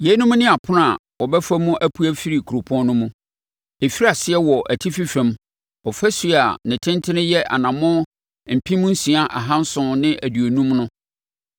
“Yeinom ne apono a wɔbɛfa mu apue afiri kuropɔn no mu: “Ɛfiri aseɛ wɔ atifi fam ɔfasuo a ne tentene yɛ anammɔn mpem nsia ahanson ne aduonum no (6,750),